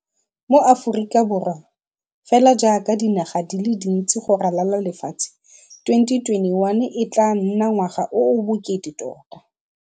Mo Aforika Borwa, fela jaaka dinaga di le dintsi go ralala lefatshe, 2021 e tla nna ngwaga o o bokete tota.